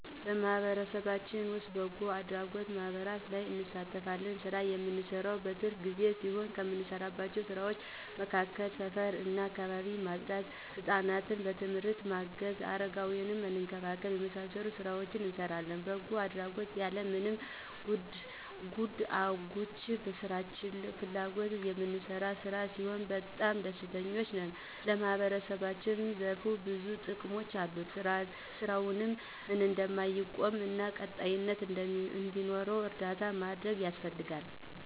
በማህበረሰባችን ዉስጥ በበጎ አድራጎት ማህበራት ላይ እንሳተፋለን። ስራውን እምንሰራው በትርፍ ጊዜ ሲሆን ከምንሰራቸው ስራዎች መካከል ሰፈር እና አካባቢን ማፅዳት፣ ሕፃናትን በትምህርት ማገዝ እና አረጋውያንን መንከባከብ የመሳሰሉትን ሥራዎች እንሰራለን። በጎ አድራጎት ያለማንም ጎትጉአች በራሳችን ፍላጎት እምንሰራው ሥራ ስለሆነ በጣም ደስተኞች ነን። ለማህበረሰቡም ዘርፈ ብዙ ጥቅሞች አሉት። ስራውም እንዳይቆም እና ቀጣይነት እንዲኖረው እርዳታ ማድረግ ያስፈልጋል።